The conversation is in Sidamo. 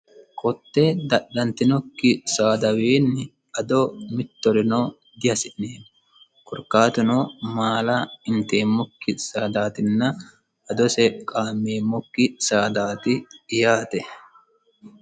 kotte dadhantinokki saadawiinni ado mittorino dihasi'neemmo korkaatuno maala inteemmokki saadaatinna adose qaameemmokki saadaati yaate